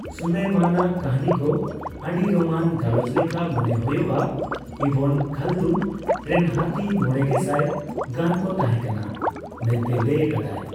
ᱥᱩᱞᱮᱭᱢᱟᱱ ᱟᱜ ᱠᱟᱹᱦᱱᱤᱠᱚ ᱟᱹᱰᱤᱨᱚᱝᱟᱱ ᱜᱟᱞᱚᱪ ᱞᱮᱠᱟ ᱢᱚᱱᱮ ᱦᱳᱭᱳᱜᱼᱟ; ᱤᱵᱚᱱ ᱠᱷᱟᱞᱫᱩᱱ ᱨᱮᱱ ᱦᱟᱹᱛᱤ ᱢᱚᱲᱮᱜᱮᱥᱟᱭ ᱜᱟᱱᱠᱚ ᱛᱟᱦᱮᱸᱠᱟᱱᱟ ᱢᱮᱱᱛᱮᱭ ᱞᱟᱹᱭ ᱟᱠᱟᱫᱟ ᱾